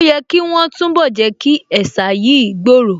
Ó yẹ̀ kí wọ́n túnbọ̀ Jẹ́kí ẹ̀sà yìí gbòòrò